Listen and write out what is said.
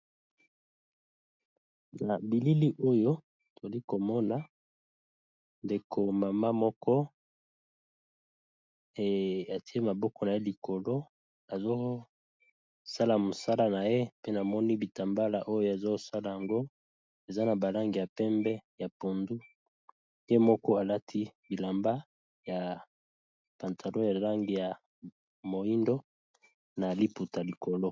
Na bilili Oyo tozali komona ndeko ya maman Moko atier maboko na likolo Azo sala mosala naye